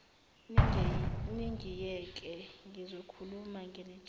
ningiyeke ngizokhuluma nginitshele